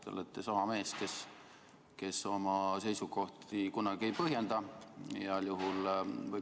Te olete sama mees, kes oma seisukohti kunagi ei põhjenda, heal juhul.